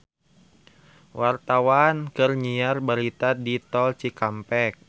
Wartawan keur nyiar berita di Tol Cikampek